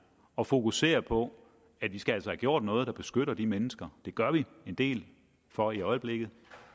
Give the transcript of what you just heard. og fokusere på at vi skal have gjort noget der beskytter de mennesker det gør vi en del for i øjeblikket